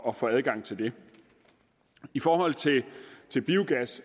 at få adgang til det i forhold til biogas